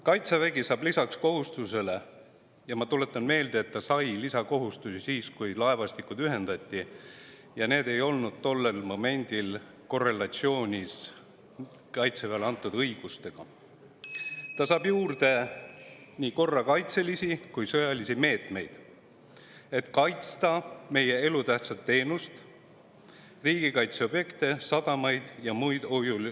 Kaitsevägi saab lisaks kohustusele – ma tuletan meelde, et ta sai lisakohustusi siis, kui laevastikud ühendati, ja need ei olnud tollel momendil korrelatsioonis Kaitseväele antud õigustega – juurde nii korrakaitselisi kui ka sõjalisi meetmeid, et kaitsta meie elutähtsaid rajatisi: riigikaitseobjekte, sadamaid ja muid.